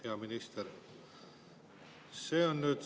Hea minister!